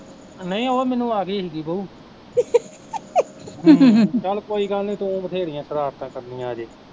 ਨਹੀਂ ਉਹ ਮੈਨੂੰ ਆਗੀ ਸੀਗੀ ਬਊ ਚੱਲ ਕੋਈ ਗੱਲ ਨੀ ਤੂੰ ਵਧੇਰੀਆ ਸ਼ਰਾਰਤਾਂ ਕਰਣੀਆ ਅਜੇ